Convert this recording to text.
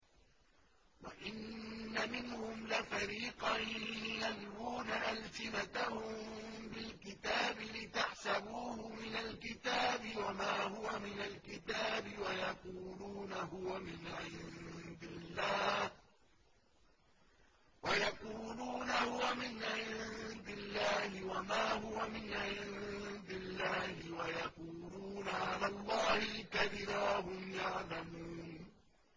وَإِنَّ مِنْهُمْ لَفَرِيقًا يَلْوُونَ أَلْسِنَتَهُم بِالْكِتَابِ لِتَحْسَبُوهُ مِنَ الْكِتَابِ وَمَا هُوَ مِنَ الْكِتَابِ وَيَقُولُونَ هُوَ مِنْ عِندِ اللَّهِ وَمَا هُوَ مِنْ عِندِ اللَّهِ وَيَقُولُونَ عَلَى اللَّهِ الْكَذِبَ وَهُمْ يَعْلَمُونَ